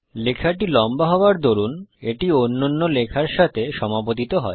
লেখাটি লম্বা হবার দরুন এটি অন্যান্য লেখার সঙ্গে সমাপতিত হয়